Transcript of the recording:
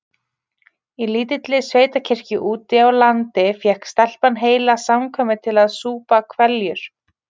Í lítilli sveitakirkju úti á landi fékk stelpan heila samkvæmið til að súpa hveljur.